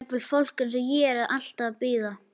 Jafnvel fólk eins og ég er alltaf eitthvað að bíða.